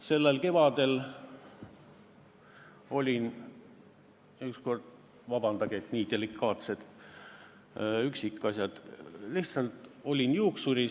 Sellel kevadel ma olin ükskord juuksuris – vabandage, et nii delikaatsed üksikasjad!